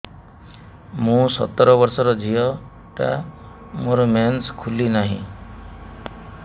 ମୁ ସତର ବର୍ଷର ଝିଅ ଟା ମୋର ମେନ୍ସେସ ଖୁଲି ନାହିଁ